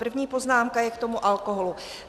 První poznámka je k tomu alkoholu.